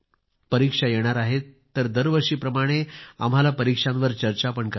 परीक्षा येणार आहेत तर दरवर्षीप्रमाणे आम्हाला परीक्षांवर चर्चा पण करायची आहे